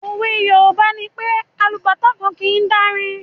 òwe Yorùbá nipé “ alubàtá kan kìí dárin”.